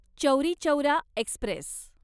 Chauri Chaura Express